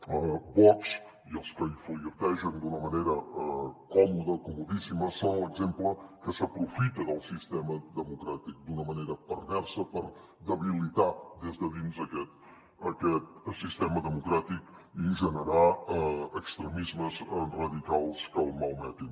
vox i els que hi flirtegen d’una manera còmoda comodíssima són l’exemple que s’aprofiten del sistema democràtic d’una manera perversa per debilitar des de dins aquest sistema democràtic i generar extremismes radicals que el malmetin